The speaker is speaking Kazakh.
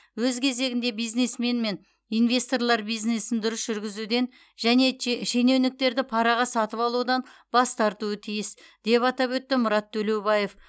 өз кезегінде бизнесмен мен инвесторлар бизнесін дұрыс жүргізуден және че шенеуніктерді параға сатып алудан бас тартуы тиіс деп атап өтті мұрат төлеубаев